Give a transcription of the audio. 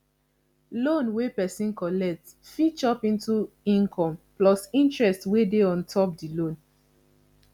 loan wey person collect fit chop into income plus interest wey dey on top di loan